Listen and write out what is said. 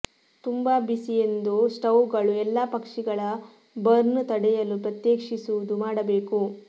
ತುಂಬಾ ಬಿಸಿ ಎಂದು ಸ್ಟೌವ್ಗಳು ಎಲ್ಲಾ ಪಕ್ಷಿಗಳ ಬರ್ನ್ಸ್ ತಡೆಯಲು ಪ್ರತ್ಯೇಕಿಸುವುದು ಮಾಡಬೇಕು